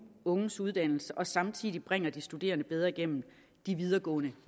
unges uddannelse og samtidig bringer de studerende bedre igennem de videregående